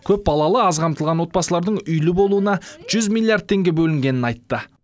көпбалалы аз қамтылған отбасылардың үйлі болуына жүз миллиард теңге бөлінгенін айтты